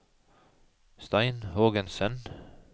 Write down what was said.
Stein Hågensen